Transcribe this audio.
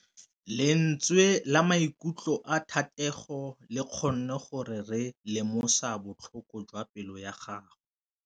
Lentswe la maikutlo a Thategô le kgonne gore re lemosa botlhoko jwa pelô ya gagwe.